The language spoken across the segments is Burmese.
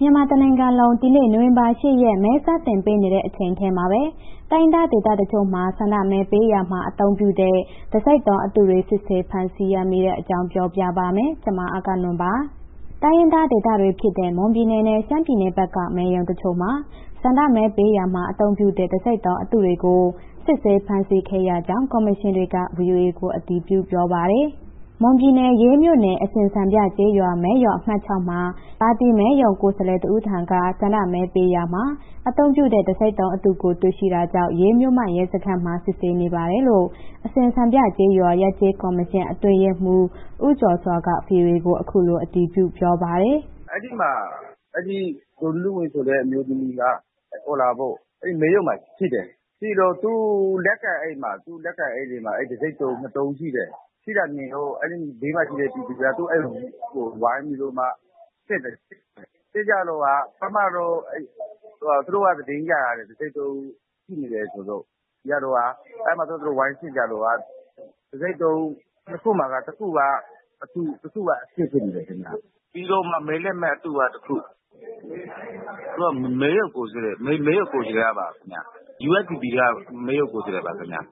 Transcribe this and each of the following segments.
မြန်မာတနိုင်ငံလုံး ဒီနေ့ နိုဝင်ဘာ ၈ ရက် မဲစတင်ပေးနေတဲ့ တချိန်တည်းမှာပဲ တိုင်းရင်းသားဒေသတချို့မှာ ဆန္ဒမဲပေးရာမှာ အသုံးပြုတဲ့ တံဆိပ်တုံးအတုတွေ စစ်ဆေးဖမ်းဆီးရမိတာတွေ ရှိနေပါတယ်။ အပြည့်အစုံကို အဂ္ဂနွန်က စုစည်းတင်ပြထားပါတယ်။ တိုင်းရင်းသားဒေသတွေဖြစ်တဲ့ မွန်ပြည်နယ်နဲ့ ရှမ်းပြည်နယ်ဘက်က မဲရုံတချို့မှာ ဆန္ဒမဲပေးရာမှာ အသုံးပြုတဲ့ တံဆိပ်တုံးအတုတွေကို စစ်ဆေးဖမ်းဆီးရမိကြောင်း ကော်မရှင်တွေက ဗွီအိုအေကို အတည်ပြု ပြောပါတယ်။ မွန်ပြည်နယ် ရေးမြို့နယ်၊ အစင်စံပြကျေးရွာ မဲရုံအမှတ် ၆ မှာ ပါတီ မဲရုံကိုယ်စားလှယ်တဦးထံက ဆန္ဒမဲပေးရာမှာ အသုံးပြုတဲ့ တံဆိပ်တုံးအတုကို တွေ့ရှိတာကြောင့် ရေးမြို့မရဲစခန်းမှာ စစ်ဆေးနေပါတယ်လို့ အစင်စံပြကျေးရွာ ရပ်ကျေးကော်မရှင် အတွင်းရေးမှူး ဦးကျော်စွာက ဗွီအိုအေကို အခုလို အတည်ပြုပြောပါတယ်။ “အဲ့ဒီမှာ အဲ့ဒီ ဒေါ်နုနုဝင်းဆိုတဲ့ အမျိုးသမီးက အဲဒီမဲရုံမှာရှိတယ်၊ ရှိတော့ သူ့လက်ကိုင်အိတ်တွေမှာ အဲ့တံဆိပ်တုံးနှစ်တုံး ရှိတယ်။ အဲဒီဘေးမှာရှိတဲ့ ပြည်သူများက သူ့အိတ်ဝိုင်းပြီးတော့မှ စစ်တယ်။ စစ်ကြတော့က ပထမတော့ သူတို့က သတင်းရထားတယ်၊ တံဆိပ်တုံးရှိနေတယ် ဆိုပြီးတော့။ အဲ့မှာ သူတို့ဝိုင်းစစ်ကြတော့ တံဆိပ်တုံးနှစ်ခုမှာက တခုကအတု၊ တခုက အစစ်ဖြစ်နေတယ်ခင်ဗျာ။ ပြီးတော့မှ မဲလက်မှတ်အတုက တခု။ သူက မဲရုံကိုယ်စားလှယ်ပါခင်ဗျ။ USDP က မဲရုံကိုယ်စားလှယ်ပါခင်ဗျ။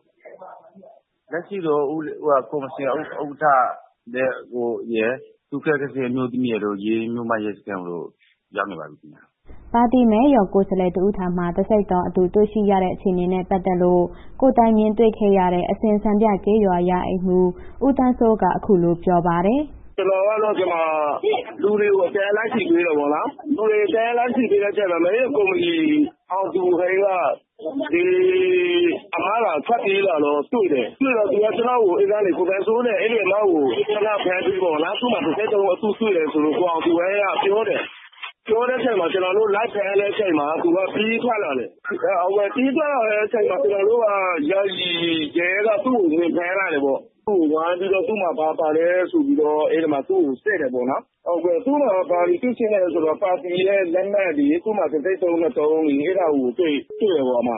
လက်ရှိတော့ ကော်မရှင်ဥက္ကဋ္ဌရယ်၊ ကာယကံရှင်အမျိုးသမီးရယ် ရေးမြို့ မြို့မရဲစခန်း ရောက်နေပါပြီခင်ဗျ။” ပါတီမဲရုံကိုယ်စားလှယ်တဦးထံမှာ တံဆိပ်တုံးအတု တွေ့ရှိရတဲ့ အခြေအနေနဲ့ ပတ်သက်ပြီး ကိုယ်တိုင်မြင်ခဲ့တဲ့ အစင်စံပြကျေးရွာ ရာအိမ်မှူး ဦးသန်းစိုးက အခုလို ပြောပါတယ်။ “ကျနော်က ဒီမှာ လူတွေကို အတန်းလိုက် စီပေးတယ်ပေါ့နော်။ လူတွေကို အတန်းလိုက် စီပေးတဲ့အချိန်မှာ မဲရုံကော်မတီ အောင်သူဟိန်းက ဒီအစ်မက ထွက်ပြေးလာတာ တွေ့တယ်၊ တွေ့တော့ သူက ကျနော့်ကို အဲ့ကနေ ကိုသန်းစိုးတဲ့ အဲ့ဒီအစ်မကို ခဏဖမ်းပေးပေါ့နော်၊ သူ့မှာ တံဆိပ်တုံးအတုတွေ့တယ်ဆိုလို့ ကိုအောင်သူဟိန်းက ပြောတယ်။ ပြောတဲ့အချိန်မှာ ကျနော်တို့ လိုက်ဖမ်းတဲ့အချိန်မှာ သူက ပြေးထွက်လာတယ်။ ပြေးထွက်လာတဲ့အချိန်မှာ ကျနော်တို့က ယာယီရဲက သူ့ကို ဝင်ဖမ်းလိုက်တယ်ပေါ့။ သူ့ကို ဝိုင်းပြီးတော့ သူ့မှာ ဘာပါလဲဆိုပြီးတော့ အဲ့ဒီမှာ သူ့ကို စစ်တယ်ပေါ့နော်။ သူ့မှာ ဘာတွေတွေ့ရှိလဲဆိုတော့ ပါတီရဲ့ လက်မှတ်တွေ၊ သူ့မှာ တံဆိပ်တုံးနှစ်တုံးရယ် အဲ့ဒါကို တွေ့တယ်ပေါ့။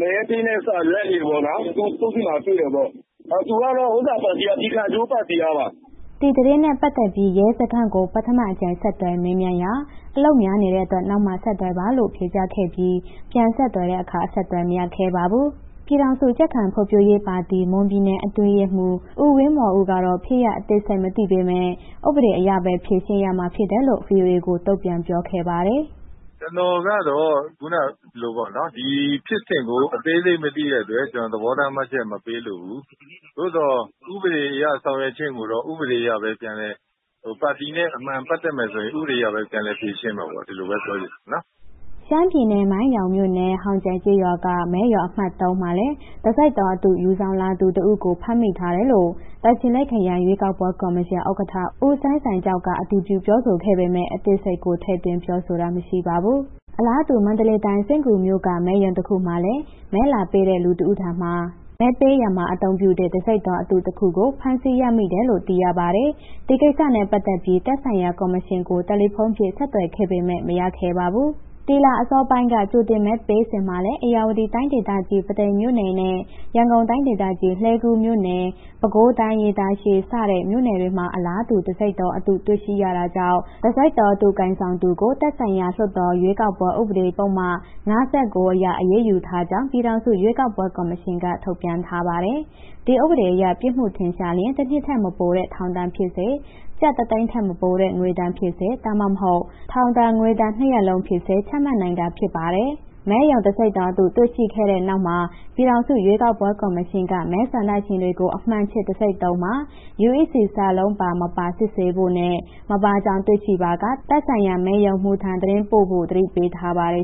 မဲပေးတဲ့စာရွက်တွေပေါ့နော် သူ့ဆီမှာ တွေ့တယ်ပေါ့။ သူကတော့ ပြည်ခိုင်ဖြိုးပါတီကပါ။” ဒီသတင်းနဲ့ပတ်သက်ပြီး ရဲစခန်းကို ပထမအကြိမ် ဆက်သွယ်မေးမြန်းရာမှာ အလုပ်များနေတဲ့အတွက် နောက်မှဆက်သွယ်ပါလို့သာ ဖြေကြားခဲ့ပြီး ပြန်ဆက်သွယ်တဲ့အခါ အဆက်အသွယ် မရခဲ့ပါဘူး။ ပြည်ထောင်စုကြံ့ခိုင်ရေးနဲ့ ဖွံ့ဖြိုးရေးပါတီ မွန်ပြည်နယ်အတွင်းရေးမှူး ဦးဝင်းမော်ဦးကတော့ ဖြစ်ရပ်အသေးစိတ် မသိပေမယ့် ဥပဒေအရပဲ ဖြေရှင်းရမှာဖြစ်တယ်လို့ ဗွီအိုအေကို တုံ့ပြန်ပြောခဲ့ပါတယ်။ “ကျာ်နော်ကတော့ ခုနလိုပေါ့နော် ဒီဖြစ်စဉ်ကို အသေးစိတ်မသိတဲ့အတွက် ကျနော် သဘောထားမှတ်ချက် မပေးလိုဘူး။ သို့သော် ဥပဒေအရ ဆောင်ရွက်ခြင်းကိုတော့ ဥပဒေအရပဲ ပြန်လည်၊ ပါတီနဲ့ အမှန်ပတ်သက်မယ်ဆိုရင် ဥပဒေအရပဲ ပြန်လည်ဖြေရှင်းမှာပေါ့၊ ဒီလိုပဲ ပြောချင်တယ်။” ရှမ်းပြည်နယ် မိုင်းယောင်းမြို့နယ် ဟောင်ကြန့်ကျေးရွာက မဲရုံအမှတ် ၃ မှာလည်း တံဆိပ်တုံးအတု ယူဆောင်လာသူတဦးကို ဖမ်းမိထားတယ်လို့ တာချီလိတ်ခရိုင် ရွေးကောက်ပွဲကော်မရှင် ဥက္ကဋ္ဌ ဦးစိုင်းဆိုင်ကျောက်က အတည်ပြု ပြောဆိုခဲ့ပေမယ့် အသေးစိတ်ကို ထည့်သွင်းပြောဆိုတာ မရှိပါဘူး။ အလားတူ မန္တလေးတိုင်း စဉ့်ကူးမြို့က မဲရုံတခုမှာလည်း မဲလာပေးတဲ့ လူတဦးထံမှာ မဲပေးရာမှာ အသုံးပြုတဲ့ တံဆိပ်တုံးအတုတခုကို သိမ်းဆည်းရမိတယ်လို့ သိရပါတယ်။ ဒီကိစ္စနဲ့ပတ်သက်ပြီး သက်ဆိုင်ရာ ကော်မရှင်ကို တယ်လီဖုန်းနဲ့ ဆက်သွယ်ခဲ့ပေမယ့် မရခဲ့ပါဘူး။ ဒီလအစောပိုင်းက ကြိုတင်မဲပေးစဉ်မှာလည်း ဧရာဝတီတိုင်းဒေသကြီး ပုသိမ်မြို့နယ်နဲ့ ရန်ကုန်တိုင်းဒေသကြီး လှည်းကူးမြို့နယ်၊ ပဲခူးတိုင်း ရေတာရှည် စတဲ့မြို့နယ်တွေမှာ အလားတူ တံဆိပ်တုံးအတု တွေ့ရှိရတာကြောင့် တံဆိပ်တုံးအတု ကိုင်ဆောင်သူကို သက်ဆိုင်ရာ လွှတ်တော် ရွေးကောက်ပွဲဥပဒေ ပုဒ်မ ၅၉ အရ အရေးယူထားကြောင်း ပြည်ထောင်စု ရွေးကောက်ပွဲကော်မရှင်က ထုတ်ပြန်ထားပါတယ်။ ဒီဥပဒေအရ ပြစ်မှုထင်ရှားရင် တနှစ်ထက်မပိုတဲ့ ထောင်ဒဏ်ဖြစ်စေ၊ ကျပ်တသိန်းထက်မပိုတဲ့ ငွေဒဏ်ဖြစ်စေ ဒါမှမဟုတ် ထောင်ဒဏ်၊ ငွေဒဏ် နှစ်ရပ်လုံးဖြစ်စေ ချမှတ်နိုင်တာဖြစ်ပါတယ်။ မဲရုံတံဆိပ်တုံးအတု တွေ့ရှိခဲ့တဲ့နောက်မှာ ပြည်ထောင်စု ရွေးကောက်ပွဲကော်မရှင်က မဲဆန္ဒရှင်တွေကို အမှန်ခြစ်တံဆိပ်တုံးမှာ UEC စာလုံး ပါ မပါ စစ်ဆေးဖို့နဲ့ မပါကြောင်း တွေ့ရှိပါက သက်ဆိုင်ရာ မဲရုံမှူးထံကို သတင်းပို့ဖို့ သတိပေးထားပါတယ်